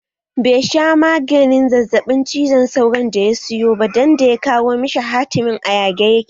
Be sha maganin zazzaɓin cizon sauron da ya siyo ba dan da ya kawo shi hatimin a yage yake